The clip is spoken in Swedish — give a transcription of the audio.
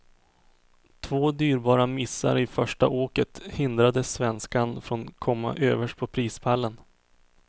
Två dyrbara missar i första åket hindrade svenskan från komma överst på prispallen.